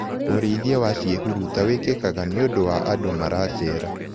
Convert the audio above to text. ũrĩithia wa ciihuruta wĩkĩkaga nĩũndũ wa andũ maracera.